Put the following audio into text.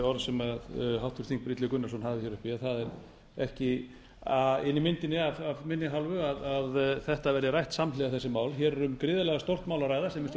illugi gunnarsson hafði hér uppi það er ekki inni í myndinni af minni hálfu að þessi mál verði rædd samhliða hér er um gríðarlega stórt mál að ræða sem er stjórn